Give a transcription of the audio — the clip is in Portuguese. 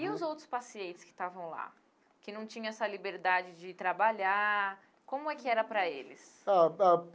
E os outros pacientes que estavam lá, que não tinham essa liberdade de trabalhar, como é que era para eles? Ah ah.